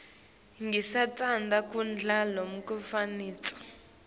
singatsandzi kudla lokunemafutsa